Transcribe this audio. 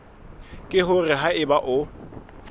ke hore ha eba o